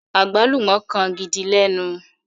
agbalumọ kán gìdí lénu.